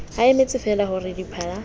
a emetsefeela ho re diphala